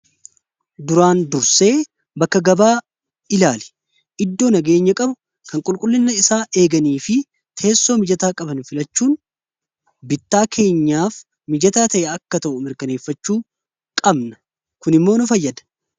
duraan dursee bakka gabaa ilaali iddoo nagayenya qabu kan qulqullilla isaa eeganii fi teessoo mijataa qaban filachuun bittaa keenyaaf mijataa ta'e akka ta'u mirkaneeffachuu qabna kun immoo nu fayyada